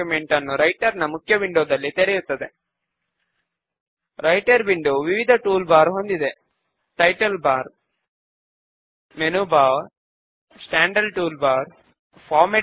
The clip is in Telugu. క్వెరీ నేమ్ కు వచ్చిన పాప్ అప్ విండో లో బుక్స్ నోట్ రిటర్న్డ్ అనే క్రొత్త పేరును టైప్ చేద్దాము